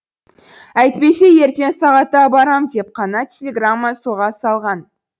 әйтпесе ертең сағатта барам деп қана телеграмма соға салған